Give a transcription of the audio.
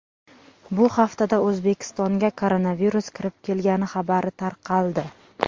Bu haftada O‘zbekistonga koronavirus kirib kelgani xabari tarqaldi.